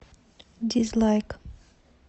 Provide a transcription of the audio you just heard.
дизлайк